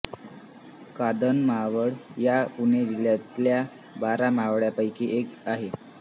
कानंद मावळ हा पुणे जिल्ह्यातल्या बारा मावळांपैकी एक आहे